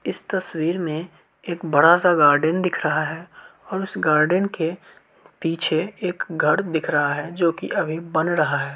इस तस्वीर मे एक बड़ा-सा गार्डन दिख रहा है और उस गार्डन के पीछे एक घर दिख रहा है जो कि अभी बना रहा है।